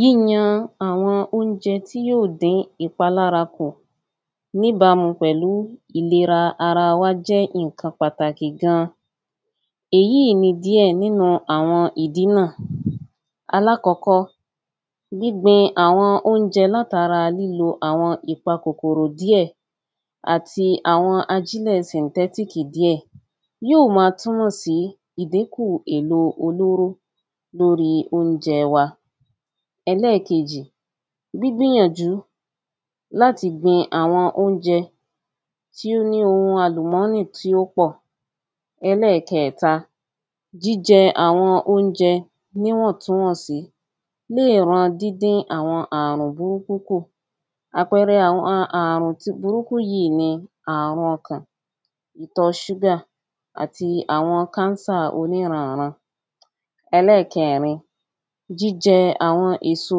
Yíyan àwọn óúnjẹ tí yóò dín iàpalamra kù Níbámu pẹ̀lú ìlera ara wá jẹ́ ǹkan pàtàkì gan-an. Èyíì ni díẹ̀ nínú-un ìdí náà. Alákọ́kó, gbígbin àwọn oúnjẹ látara lílo àwọn ìpa kòkòrò díẹ̀ àti àwọn ajílẹ̀ sìǹtẹ́tíkì díẹ̀ Yóò ma túmọ̀ sí ìdínkù èlò olóró lórí óúnjẹ wa. Ẹlẹ́ẹ̀kejì, gbígbìyànjú láti gbin àwọn oúnjẹ tí ó ní ohun àlùmọ́nì tí ó pọ̀. Ẹlẹ́ẹ̀kẹẹ̀ta, jíjẹ àwọn oúnjẹ ní níwọ̀ntúnwọ̀nsí lè ran dídín àwọn àrùn burúkú kù Àpẹrẹ àwọn àrù̃ ti burúkú ni àrùn ọkàn. Ìtọ súgà àti àwọn káńsà oníran-ǹ-ran. Ẹlẹ́ẹ̀kẹẹ̀rin, jíjẹ àwọn èso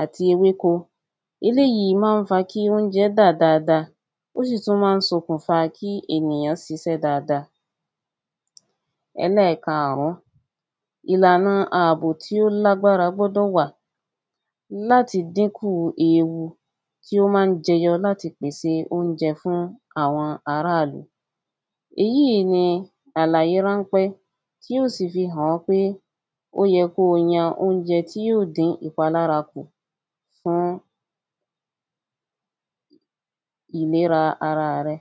àti ewéko. Eléyí má ń sokùnfa kí oúnjẹ dà dada. Ó sì tún má ń sokùnfa kí ènìyàn sisẹ́ dada. Ẹlẹ́ẹ̀kaàrún, iàlànà àbò tí ó lágbára gbọdọ̀ wà láti dínkù ewu tí ó má ń jẹyọ láti pèsè oúnjẹ fún àwọn aráàlú. Èyí ni àlàyé ráńpẹ́ tí yó sì fi hàn ẹ́ pé ó yẹ kó o yan oúnjẹ tí yóò dín ìpalára kù fún ìlera araà rẹ.